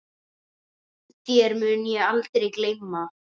Þér mun ég aldrei gleyma.